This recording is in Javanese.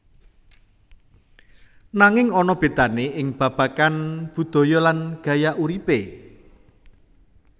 Nanging ana bedane ing babagan budaya lan gaya uripe